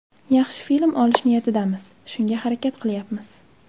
Yaxshi film olish niyatidamiz, shunga harakat qilyapmiz.